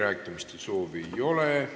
Kõnesoove ei ole.